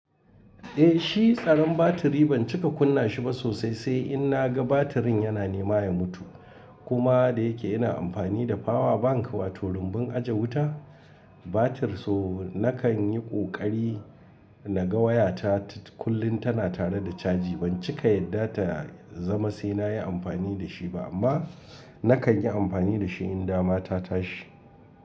Eh shi tsaron batiri ban cika kunna shi ba sosai sai in na ga batirin yana nema ya mutu. Kuma da yake ina amfani da power bank wato rumbun aje wuta, batir so nakan yi ƙoƙari na ga wayata kullum tana tare da caji. Ban cika yadda ta zama sai na yi amfani da shi ba amma nakan yi amfani da shi in dama ta tashi.